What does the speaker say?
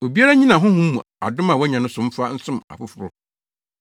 Obiara nnyina Honhom mu adom a wanya no so mfa nsom afoforo.